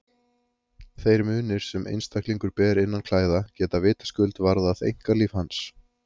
Þeir munir sem einstaklingur ber innan klæða geta vitaskuld varðað einkalíf hans.